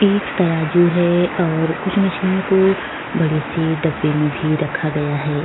एक तराजू है और कुछ मछलियों को बड़ी सी डब्बी में भी रखा गया है।